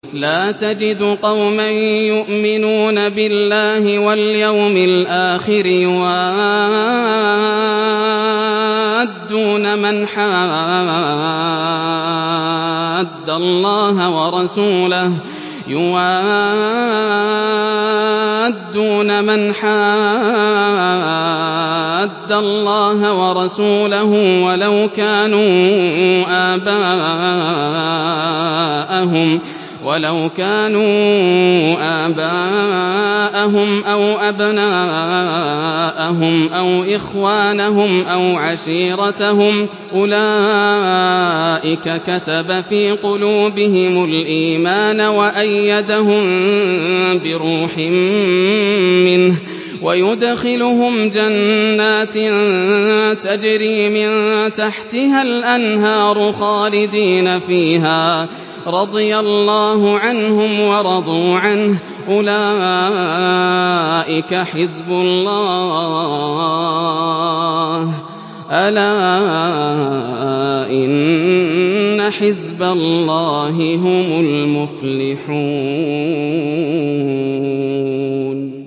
لَّا تَجِدُ قَوْمًا يُؤْمِنُونَ بِاللَّهِ وَالْيَوْمِ الْآخِرِ يُوَادُّونَ مَنْ حَادَّ اللَّهَ وَرَسُولَهُ وَلَوْ كَانُوا آبَاءَهُمْ أَوْ أَبْنَاءَهُمْ أَوْ إِخْوَانَهُمْ أَوْ عَشِيرَتَهُمْ ۚ أُولَٰئِكَ كَتَبَ فِي قُلُوبِهِمُ الْإِيمَانَ وَأَيَّدَهُم بِرُوحٍ مِّنْهُ ۖ وَيُدْخِلُهُمْ جَنَّاتٍ تَجْرِي مِن تَحْتِهَا الْأَنْهَارُ خَالِدِينَ فِيهَا ۚ رَضِيَ اللَّهُ عَنْهُمْ وَرَضُوا عَنْهُ ۚ أُولَٰئِكَ حِزْبُ اللَّهِ ۚ أَلَا إِنَّ حِزْبَ اللَّهِ هُمُ الْمُفْلِحُونَ